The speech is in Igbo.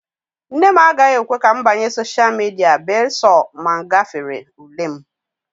nne m agaghị ekwe ka m banye sosha midia bee sọ na m gafere ule m